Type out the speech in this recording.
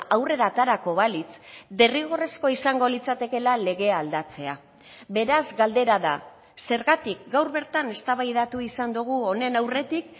aurrera aterako balitz derrigorrezkoa izango litzatekela legea aldatzea beraz galdera da zergatik gaur bertan eztabaidatu izan dugu honen aurretik